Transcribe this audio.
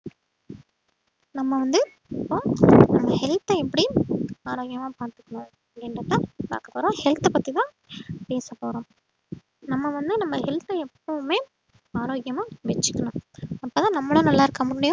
நம்ம வந்து இப்ப நம்ம health அ எப்படி ஆரோக்கியமா பாத்துக்கணும் அப்படின்றதை பாக்க போறோம் health அ பத்திதான் பேசப்போறோம் நம்ம வந்து நம்ம health அ எப்பவுமே ஆரோக்கியமா வெச்சுக்கணும் அப்பதான் நம்மளும் நல்லா இருக்க முடியும்